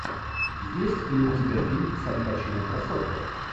есть ли у тебя фильм с аль пачино красотка